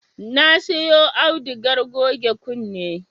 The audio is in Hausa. Na siyo audugar goge kunne